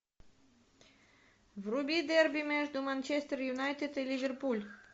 вруби дерби между манчестер юнайтед и ливерпуль